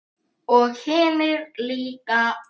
Og hinir líka.